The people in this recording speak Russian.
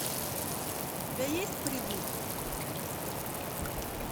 у тебя есть придурки